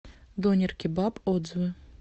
донер кебаб отзывы